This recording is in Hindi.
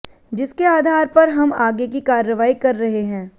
जिसके आधार पर हम आगे की कार्रवाई कर रहे है